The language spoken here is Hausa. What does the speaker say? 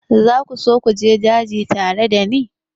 Za ku so ku je daji tare da ni?